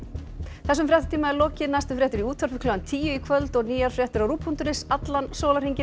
þessum fréttatíma er lokið næstu fréttir í útvarpi klukkan tíu í kvöld og nýjar fréttir á rúv punktur is allan sólarhringinn